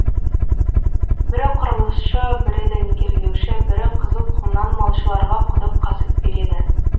бірі құрылысшы бірі дәнекерлеуші бірі қызыл құмнан малшыларға құдық қазып береді